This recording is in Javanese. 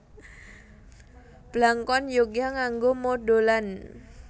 Blangkon Yogya nganggo mondholan